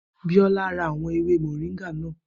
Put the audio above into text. Biola ra àwọn ewé mọ̀ríńgà náà